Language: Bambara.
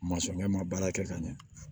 Masɔnkɛ ma baara kɛ ka ɲɛ